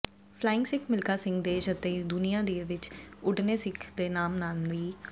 flying Sikh Milkha Singh ਦੇਸ਼ ਅਤੇ ਦੁਨੀਆ ਦੇ ਵਿੱਚ ਉੱਡਣੇ ਸਿੱਖ ਦੇ ਨਾਮ ਨਾਲ ਵੀ